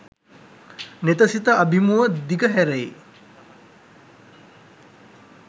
නෙත සිත අභිමුව දිග හැරෙයි.